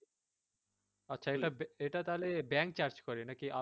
আচ্ছা এটা, এটা তাহলে bank charge করে নাকি এটা এটাও